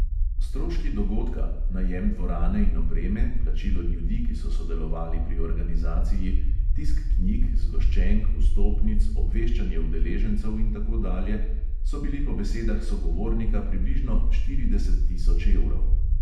Stroški dogodka – najem dvorane in opreme, plačilo ljudi, ki so sodelovali pri organizaciji, tisk knjig, zgoščenk, vstopnic, obveščanje udeležencev in tako dalje – so bili po besedah sogovornika približno štirideset tisoč evrov.